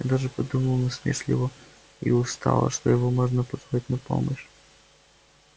я даже подумал насмешливо и устало что его можно позвать на помощь